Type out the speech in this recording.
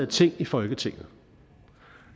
ting i folketinget